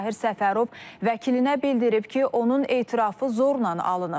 Məzahir Səfərov vəkilinə bildirib ki, onun etirafı zorla alınıb.